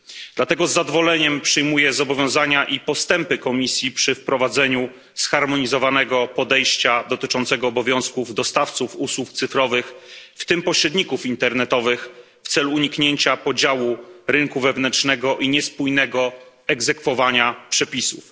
Dlatego z zadowoleniem przyjmuję zobowiązania i postępy Komisji przy wprowadzaniu zharmonizowanego podejścia dotyczącego obowiązków dostawców usług cyfrowych, w tym pośredników internetowych, w celu uniknięcia podziału rynku wewnętrznego i niespójnego egzekwowania przepisów.